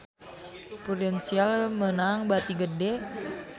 Prudential meunang bati gede